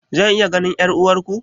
Zan iya ganin 'yar'uwarku?